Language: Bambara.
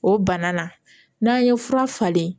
O bana na n'an ye fura falen